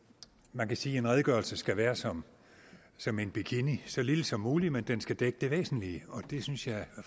man kan sige at en redegørelse skal være som som en bikini så lille som mulig men den skal dække det væsentlige og det synes jeg